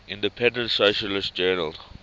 independent socialist journal